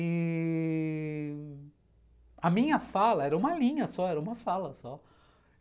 E... a minha fala era uma linha só, era uma fala só.